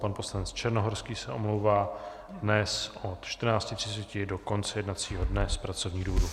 Pan poslanec Černohorský se omlouvá dnes od 14.30 do konce jednacího dne z pracovních důvodů.